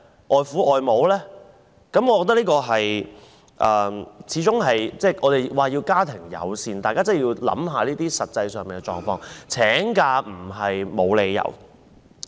我們常說要家庭友善，但大家真的要考慮這些實際狀況，請假並非沒有理由。